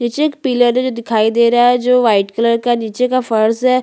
जो G double O G L E लिखा हुआ है जो रंग-बिरंगे में लिखे हुए है जैसे --